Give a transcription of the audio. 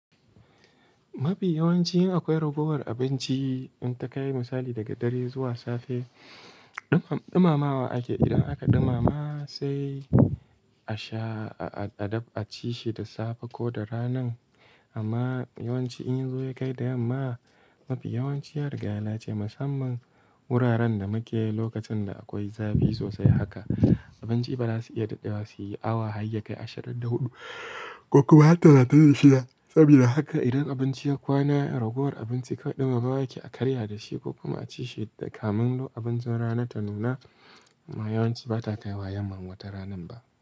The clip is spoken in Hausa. Mafi yawanci in akwai ragowar abinci, in ta kai misali daga dare zuwa safe, ɗumamawa ake. Idan aka ɗumama sai a sha, a dab a ci shi da safe ko da rana. Amma yawanci in zuwa ya kai da yamma, mafi yawanci yariga ya lalace musamman wuraren da muke lokacin da akwai zafi sosai haka, abinci ba za su iya dadewa su yi awa hayyakai ashirin da huɗu ko kuma har talatin da shida. Saboda haka idan abinci ya kwana, ragowar abinci kawai ɗumamawa ake a karya da shi ko kuma a ci shi da kamun abincin rana ta nuna. Amma yawanci ba ta ta yi wayan mangwata ranan ba.